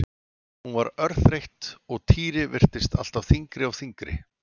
Hún var orðin örþreytt og Týri virtist alltaf þyngri og þyngri.